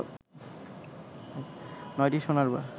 নয়টি সোনার বার